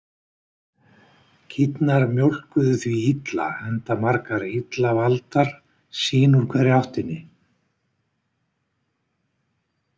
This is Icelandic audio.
Kýrnar mjólkuðu því illa, enda margar illa valdar, sín úr hverri áttinni.